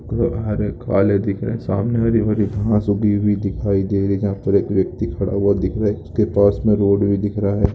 दिख रे सामने हरी भरी घास उगी हुई दिखाय दे रही है यहा पर एक व्यक्ति खड़ा हुवा दिख रा हैंपास में एक रोड भी दिख रा है।